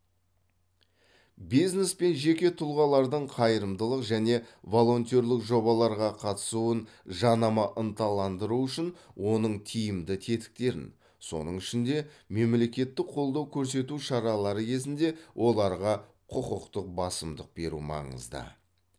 бизнес пен жеке тұлғалардың қайырымдылық және волонтерлік жобаларға қатысуын жанама ынталандыру үшін оның тиімді тетіктерін соның ішінде мемлекеттік қолдау көрсету шаралары кезінде оларға құқықтық басымдық беру маңызды